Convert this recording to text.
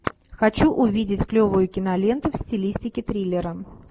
хочу увидеть клевую киноленту в стилистике триллера